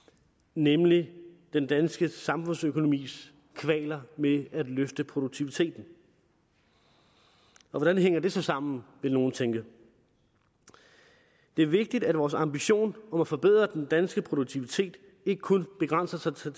nemlig den danske samfundsøkonomis kvaler med at løfte produktiviteten og hvordan hænger det så sammen vil nogle tænke det er vigtigt at vores ambition om at forbedre den danske produktivitet ikke kun begrænser sig til